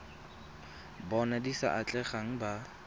bona di sa atlegang ba